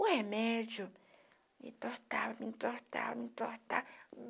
O remédio me entortava, me entortava, me entortava.